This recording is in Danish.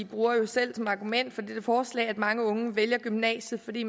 bruger jo selv som argument for dette forslag at mange unge vælger gymnasiet fordi